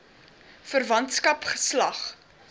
verwantskap geslag